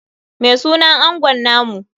Me sunan angon namu?